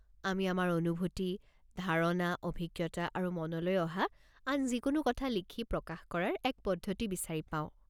আমি আমাৰ অনুভূতি, ধাৰণা, অভিজ্ঞতা আৰু মনলৈ অহা আন যিকোনো কথা লিখি প্ৰকাশ কৰাৰ এক পদ্ধতি বিচাৰি পাওঁ।